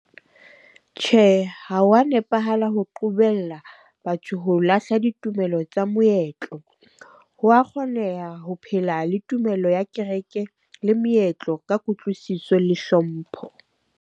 Tjhe, ha wa nepahala ho qobella batho ho lahla ditumelo tsa moetlo. Ho wa kgoneha ho phela le tumello ya kereke, le meetlo ka kutlwisiso le hlompho.